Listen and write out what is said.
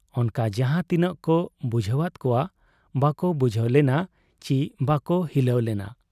ᱚᱱᱠᱟ ᱡᱟᱦᱟᱸ ᱛᱤᱱᱟᱹᱜ ᱠᱚ ᱵᱩᱡᱷᱟᱹᱣᱟᱫ ᱠᱚᱣᱟ ᱵᱟᱠᱚ ᱵᱩᱡᱷᱟᱹᱣ ᱞᱮᱱᱟ ᱪᱤ ᱵᱟᱠᱚ ᱦᱤᱞᱟᱹᱣ ᱞᱮᱱᱟ ᱾